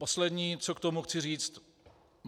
Poslední, co k tomu chci říct.